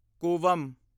Cooum